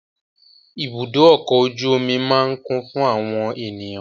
Ibùdó ọkọ̀ ojú omi máa kún fún àwọn ènìyàn.